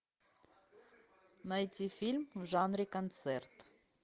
найти фильм в жанре концерт